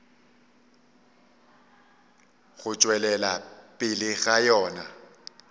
go tšwelela pele ga yona